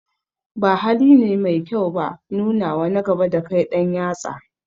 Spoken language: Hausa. Ba haline mai kyau ba nunawa na gaba dakai ɗan yatsa